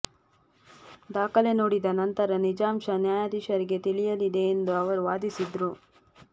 ದಾಖಲೆ ನೋಡಿದ ನಂತರ ನಿಜಾಂಶ ನ್ಯಾಯಾಧೀಶರಿಗೆ ತಿಳಿಯಲಿದೆ ಎಂದು ಅವರೂ ವಾದಿಸಿದರು